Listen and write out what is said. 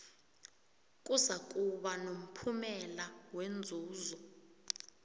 kuzakuba nomphumela wenzuzo